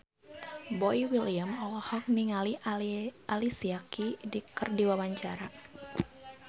Boy William olohok ningali Alicia Keys keur diwawancara